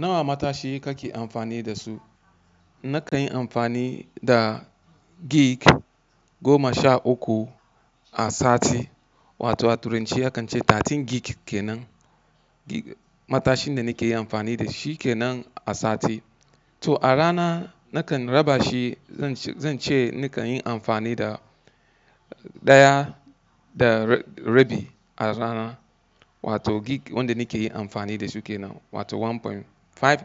Nawa matashi kake amfani da su? Nakan yi amfani da gig goma sha uku a sati wato a turanci akan ce 13 gig kenan. Matashin da nake yi amfani da shi kenan a sati. To a rana nakan raba shi, zan ce nakan yi amfani da ɗaya da rabi a rana wato gig wanda nake yi amfani da shi kenan wato 1.5